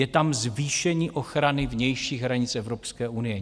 Je tam zvýšení ochrany vnějších hranic Evropské unie.